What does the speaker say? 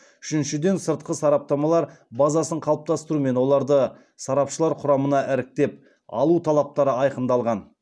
үшіншіден сыртқы сарапшылар базасын қалыптастыру мен оларды сарапшылар құрамына іріктеп алу талаптары айқындалған